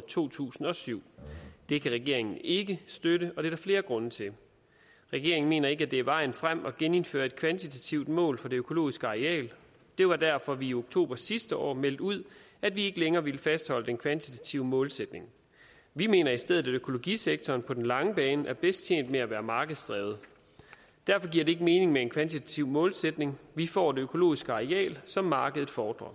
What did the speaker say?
to tusind og syv det kan regeringen ikke støtte og det er der flere grunde til regeringen mener ikke at det er vejen frem at genindføre et kvantitativt mål for det økologiske areal det var derfor at vi i oktober sidste år meldte ud at vi ikke længere ville fastholde den kvantitative målsætning vi mener i stedet at økologisektoren på den lange bane er bedst tjent med at være markedsdrevet derfor giver det ikke mening med en kvantitativ målsætning vi får det økologiske areal som markedet fordrer